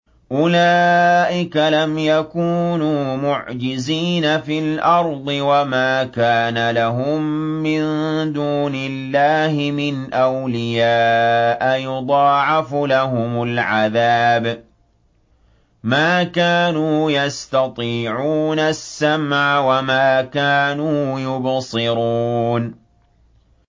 أُولَٰئِكَ لَمْ يَكُونُوا مُعْجِزِينَ فِي الْأَرْضِ وَمَا كَانَ لَهُم مِّن دُونِ اللَّهِ مِنْ أَوْلِيَاءَ ۘ يُضَاعَفُ لَهُمُ الْعَذَابُ ۚ مَا كَانُوا يَسْتَطِيعُونَ السَّمْعَ وَمَا كَانُوا يُبْصِرُونَ